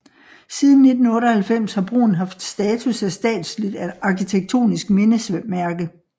Siden 1998 har broen haft status af statsligt arkitektonisk mindesmærke